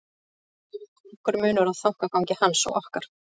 Þar er því nokkur munur á þankagangi hans og okkar.